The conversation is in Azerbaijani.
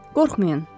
“Qorxmayın.